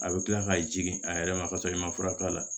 A bɛ kila ka jigin a yɛrɛ ma kasɔrɔ i ma fura k'a la